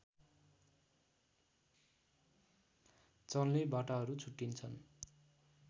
चल्ने बाटाहरू छुट्टिन्छन्